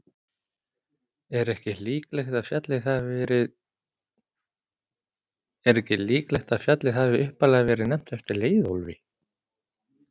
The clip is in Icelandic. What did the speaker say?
Er ekki líklegt að fjallið hafi upphaflega verið nefnt eftir Leiðólfi?